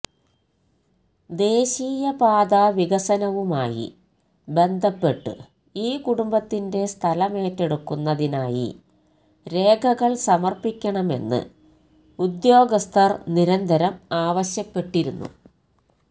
ദേശീയപാതാ വികസനവുമായി ബന്ധപ്പെട്ട് ഈ കുടുംബത്തിന്റെ സ്ഥലമേറ്റെടുക്കുന്നതിനായി രേഖകള് സമര്പ്പിക്കണമെന്ന് ഉദ്യോഗസ്ഥര് നിരന്തരം ആവശ്യപ്പെട്ടിരുന്നു